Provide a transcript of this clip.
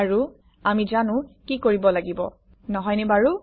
আৰু আমি জানো কি কৰিব লাগিব নহয়নে বাৰু